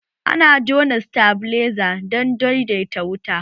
Ana jona sitabiliza dan daidaita wuta